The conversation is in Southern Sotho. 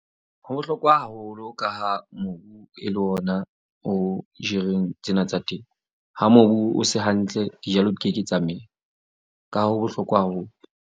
Ho bohlokwa haholo ka ha mobu e le ona o jereng tsena tsa temo, ha mobu o se hantle dijalo di ke ke tsa mela. Ka hoo ho bohlokwa haholo.